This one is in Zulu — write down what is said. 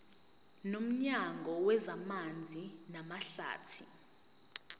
nomnyango wezamanzi namahlathi